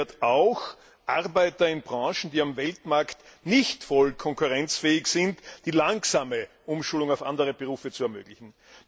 Dazu gehört auch, Arbeitern in Branchen, die am Weltmarkt nicht voll konkurrenzfähig sind, eine langsame Umschulung auf andere Berufe zu ermöglichen.